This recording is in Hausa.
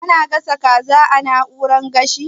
Ana gasa kaza a na'urar gashi?